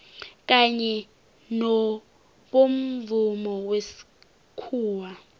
kanye nobomvumo wesikhuwa